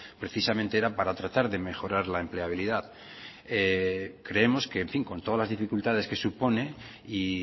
precisamente era para tratar de mejorar la empleabilidad creemos que en fin con todas las dificultades que supone y